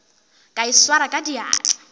ka e swara ka diatla